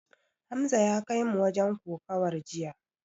Hamza ya kaimu wajen kokawar jiya.